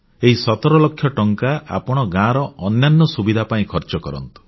ଏହି 17 ଲକ୍ଷ ଟଙ୍କା ଆପଣ ଗାଁର ଅନ୍ୟାନ୍ୟ ସୁବିଧା ପାଇଁ ଖର୍ଚ୍ଚ କରନ୍ତୁ